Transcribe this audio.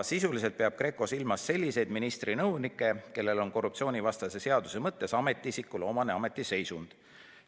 Sisuliselt peab GRECO silmas selliseid ministri nõunike, kellel on korruptsioonivastase seaduse mõttes ametiisikule omane ametiseisund.